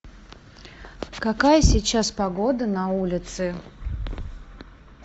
какая сейчас погода на улице